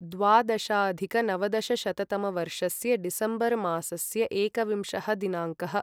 द्वादशाधिकनवदशशततमवर्षस्य December मासस्य एकविंशः दिनाङ्कः